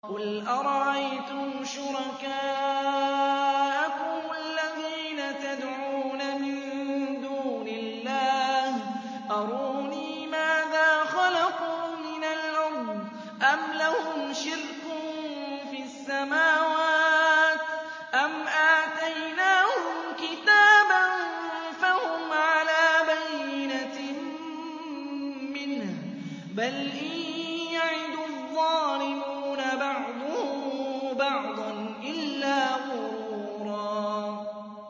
قُلْ أَرَأَيْتُمْ شُرَكَاءَكُمُ الَّذِينَ تَدْعُونَ مِن دُونِ اللَّهِ أَرُونِي مَاذَا خَلَقُوا مِنَ الْأَرْضِ أَمْ لَهُمْ شِرْكٌ فِي السَّمَاوَاتِ أَمْ آتَيْنَاهُمْ كِتَابًا فَهُمْ عَلَىٰ بَيِّنَتٍ مِّنْهُ ۚ بَلْ إِن يَعِدُ الظَّالِمُونَ بَعْضُهُم بَعْضًا إِلَّا غُرُورًا